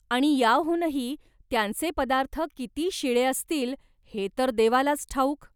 आणि याहूनही, त्यांचे पदार्थ किती शिळे असतील हे तर देवालाच ठाऊक.